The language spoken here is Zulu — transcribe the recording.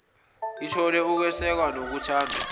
ithole ukwesekwa nokuthandwa